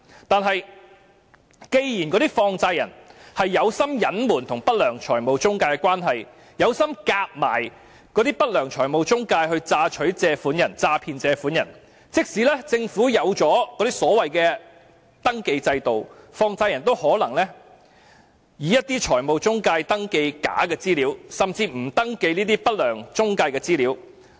但是，既然那些放債人存心隱瞞與不良財務中介的關係，存心與不良財務中介合謀詐騙借款人，即使政府設立了登記制度，放債人也可能以一些財務中介登記假的資料，甚至不登記不良中介的資料。